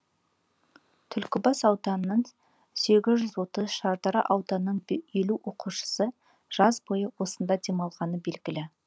түлкібас ауданының сегіз жүз отыз шардара ауданының елу оқушысы жаз бойы осында демалғаны белгілі